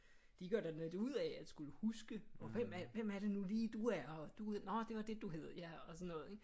De gør da lidt ud af at skulle huske hvem er hvem er det nu lige du er og nå det var det du hed og sådan noget ikke